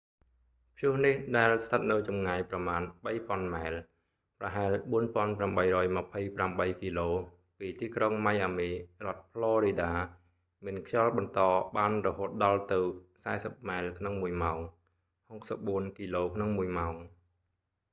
ព្យុះនេះ ដែលស្ថិតនៅចម្ងាយប្រមាណ 3,000 ម៉ែល ប្រហែល 4828 គីឡូ ពីទីក្រុងម៉ៃអាមី រដ្ឋផ្លរីដា មានខ្យល់បន្តបានរហូតដល់ទៅ 40 ម៉ែលក្នុងមួយម៉ោង 64 គីឡូក្នុងមួយម៉ោង